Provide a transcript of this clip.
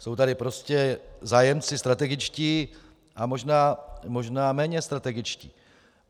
Jsou tady prostě zájemci strategičtí a možná méně strategičtí.